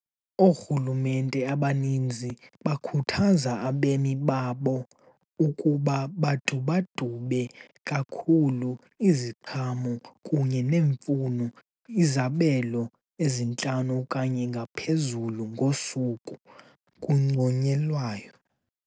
Oorhulumente abaninzi ukukhuthaza abemi babo ukuba awadubadube kakhulu iziqhamo kunye nemifuno, izabelo ezintlanu okanye ngaphezulu ngosuku kunconyelwayo.